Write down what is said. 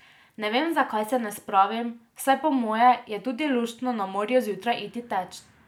Ne vem, zakaj se ne spravim, saj po moje je tudi luštno na morju zjutraj iti teč.